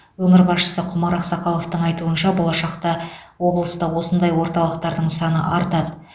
өңір басшысы құмар ақсақаловтың айтуынша болашақта облыста осындай орталықтардың саны артады